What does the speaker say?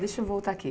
Deixa eu voltar aqui.